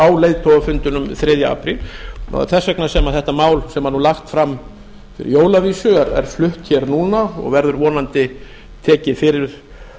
á leiðtogafundinum þriðja apríl það er þess vegna sem þetta mál sem er lagt fram fyrir jól að vísu er flutt hér núna og verður vonandi tekið fyrir